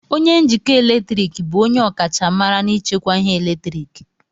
onye njikọ eletrik bụ onye ọkachamara n'ichekwa ihe eletriki